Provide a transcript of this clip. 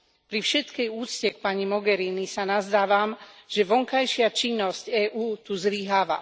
Pri všetkej úcte k pani Mogherini sa nazdávam, že vonkajšia činnosť EÚ tu zlyháva.